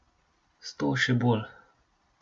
Sto še bolj.